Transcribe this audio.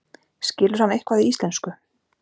Skilur hann eitthvað í íslensku?